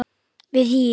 við HÍ.